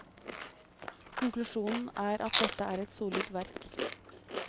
Konklusjonen er at dette er et solid verk.